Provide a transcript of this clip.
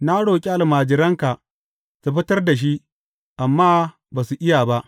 Na roƙi almajiranka su fitar da shi, amma ba su iya ba.